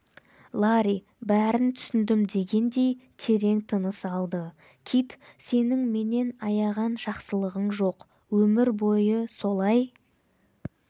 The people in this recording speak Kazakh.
ларри бәрін түсіндім дегендей терең тыныс алды кит сенің менен аяған жақсылығың жоқ өмір бойы солай